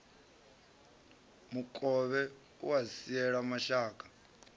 mukovhe a u siela mashaka